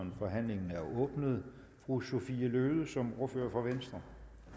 forhandlingen er åbnet fru sophie løhde som ordfører for venstre